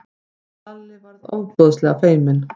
Lalli varð ofboðslega feiminn.